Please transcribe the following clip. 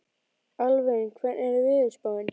Alvin, hvernig er veðurspáin?